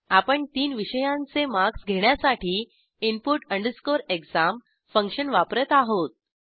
आपण तीन विषयांचे मार्क्स घेण्यासाठी input exam फंक्शन वापरत आहोत